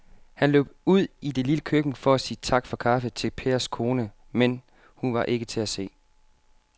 Han løb ud i det lille køkken for at sige tak for kaffe til Pers kone, men hun var ikke til at se.